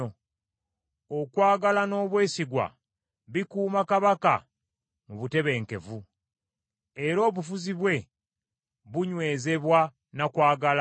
Okwagala n’obwesigwa bikuuma kabaka mu butebenkevu, era obufuzi bwe bunywezebwa na kwagala.